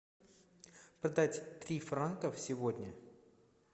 продать три франка сегодня